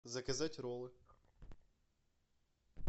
заказать роллы